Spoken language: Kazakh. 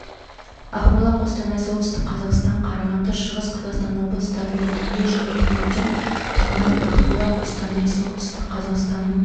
ақмола қостанай солтүстік қазақстан қарағанды шығыс қазақстан облыстарында түнде және таңертең тұман ақмола қостанай солтүстік қазақстанның